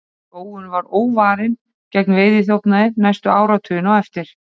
skógurinn var óvarinn gegn veiðiþjófnaði næstu áratugina á eftir